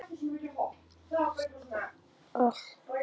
Af ávöxtunum skuluð þér þekkja þá, sagði Daði í Snóksdal.